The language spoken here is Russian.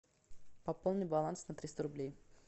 пополни баланс на триста рублей